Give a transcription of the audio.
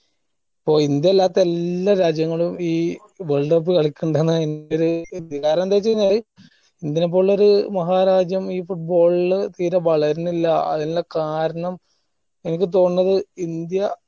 ഓ India അല്ലാത്ത എല്ലാ രാജ്യങ്ങളും ഈ world cup കളിക്കിണ്ടെന്നാ എന്റെ ഒരി വിചാരം എന്തെച്ചഴിഞ്ഞാല് ഇന്ത്യനേ പോലുള്ളോര് മഹാ രാജ്യം ഈ football ല് തീരെ വളർന്നില്ല അയിനിള്ള കാർണം എനിക്ക് തോൺന്നത് ഇന്ത്യ